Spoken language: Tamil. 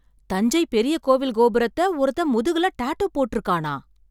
தஞ்சை பெரிய கோவில் கோபுரத்தை ஒருத்தன் முதுகுல டாட்டூ போட்டு இருக்கானா?